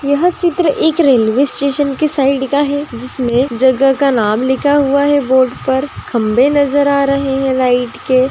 यह चित्र एक रेलवे स्टेशन की साइड का है जिसमें जगह का नाम लिखा हुआ है बोर्ड पर खंबे नज़र आ रहे हैं लाइट के--